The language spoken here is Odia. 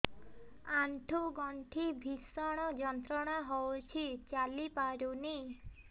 ଆଣ୍ଠୁ ଗଣ୍ଠି ଭିଷଣ ଯନ୍ତ୍ରଣା ହଉଛି ଚାଲି ପାରୁନି